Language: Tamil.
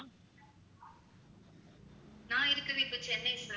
நான் இருக்கிறது இப்ப சென்னை sir